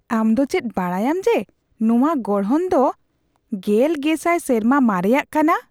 ᱟᱢ ᱪᱮᱫ ᱵᱟᱰᱟᱭᱟᱢ ᱡᱮ, ᱱᱚᱶᱟ ᱜᱚᱲᱦᱚᱱ ᱫᱚ ᱑᱐᱐᱐᱐ ᱥᱮᱨᱢᱟ ᱢᱟᱨᱮᱭᱟᱜ ᱠᱟᱱᱟ ᱾